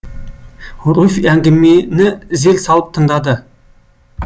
руфь әңгімені зер салып тыңдады